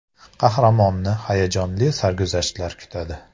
Qahramonni hayajonli sarguzashtlar kutadi.